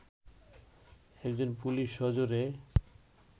একজন পুলিশ সজোরে